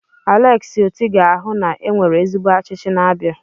Aleksi Oti ga-ahụ na e nwere ezigbo ọchịchị n'Abia.